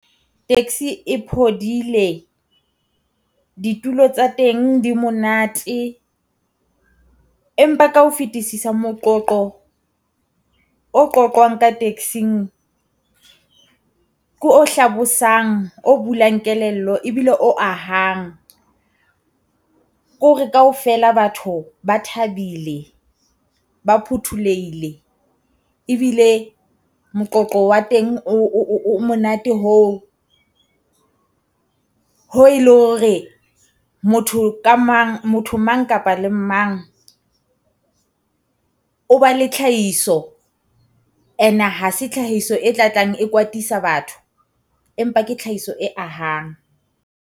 Taxi e phodile ditulo tsa teng di monate, empa ka ho fetisisa moqoqo o qoqwang ka taxi-ng ko o hlabosang o bulang kelello ebile o ahang. Ko hore kaofela batho ba thabile ba phuthollohile, ebile moqoqo wa teng o monate hoo hoo le hore. Motho ka mang motho mang kapa le mang o ba le tlhahiso, and-e ha se tlhahiso e tla tlang e kwatisa batho empa ke tlhahiso e ahang.